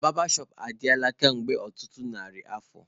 Barbershop adịla kemgbe ọtụtụ narị afọ